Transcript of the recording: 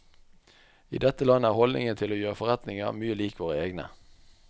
I dette landet er holdningen til å gjøre forretninger mye lik våre egne.